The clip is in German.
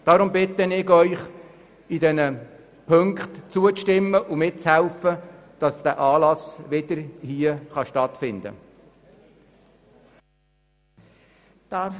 Deshalb bitte ich Sie, diesen Punkten zuzustimmen und mitzuhelfen, dass dieser Anlass wieder hier stattfinden kann.